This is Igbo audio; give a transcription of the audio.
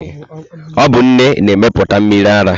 Ọ bụ nne na-emepụta mmiri ara.